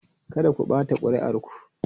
Kada ku ɓata kuri'ar ku!